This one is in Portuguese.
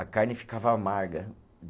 A carne ficava amarga